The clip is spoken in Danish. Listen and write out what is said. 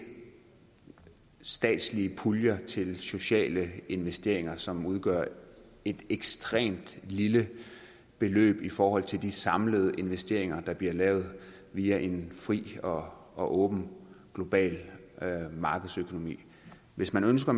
statslige puljer til sociale investeringer som udgør et ekstremt lille beløb i forhold til de samlede investeringer der bliver lavet via en fri og og åben global markedsøkonomi hvis man ønsker